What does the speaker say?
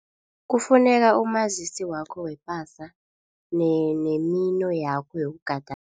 Kufuneka umazisi wakho wepasa nemino yakho yokugadangisa.